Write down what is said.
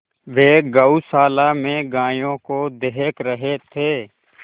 वे गौशाला में गायों को देख रहे थे